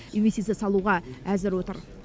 инвестиция салуға әзір отыр